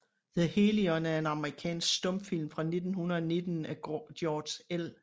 The Hellion er en amerikansk stumfilm fra 1919 af George L